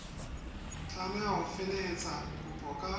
tlameha ho felehetsa kopo ka